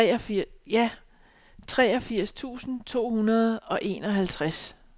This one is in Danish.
treogfirs tusind to hundrede og enoghalvtreds